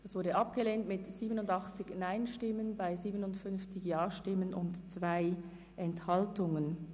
Diese Planungserklärung ist abgelehnt worden mit 57 Ja- gegen 87 Nein-Stimmen bei 2 Enthaltungen.